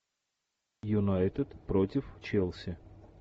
юнайтед против челси